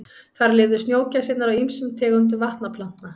Þar lifðu snjógæsirnar á ýmsum tegundum vatnaplantna.